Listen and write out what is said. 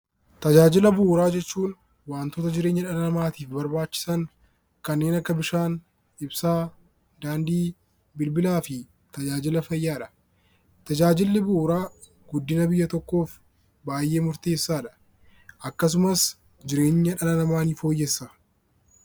Tajaajila bu'uuraa jechuun wantoota jireenya dhala namaatiif barbaachisan kanneen akka bishaan ,ibsaa, daandii, bilbilaa fi tajaajila fayyaadha. Tajaajilli bu'uuraa guddina biyya tokkoof baayyee murteessaadha. Akkasumas jireenya dhala namaa ni fooyyessa.